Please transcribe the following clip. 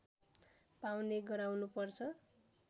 पाउने गराउनुपर्छ